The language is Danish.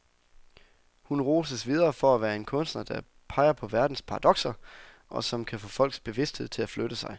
Hun roses videre for at være en kunstner, der peger på verdens paradokser, og som kan få folks bevidsthed til at flytte sig.